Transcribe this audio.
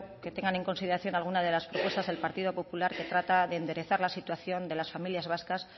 que tengan en consideración algunas de las propuestas del partido popular que trata de enderezar la situación de las familias vascas